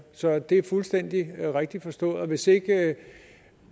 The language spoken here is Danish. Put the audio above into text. så det er fuldstændig rigtigt forstået hvis ikke